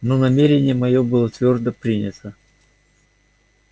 но намерение моё было твёрдо принято